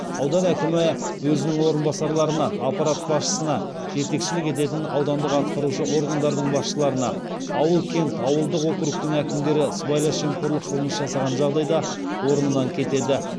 аудан әкімі өзінің орынбасарларына аппарат басшысына жетекшілік ететін аудандық атқарушы органдардың басшыларына ауыл кент ауылдық округтердің әкімдері сыбайлас жемқорлық қылмыс жасаған жағдайда орнынан кетеді